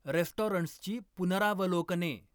रेस्टॉरंट्सची पुनरावलोकने